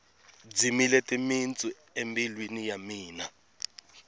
dzimile timitsu embilwini ya mina